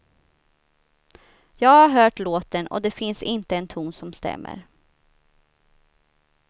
Jag har hört låten och det finns inte en ton som stämmer.